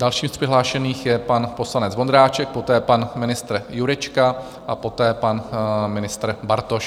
Dalším z přihlášených je pan poslanec Vondráček, poté pan ministr Jurečka a poté pan ministr Bartoš.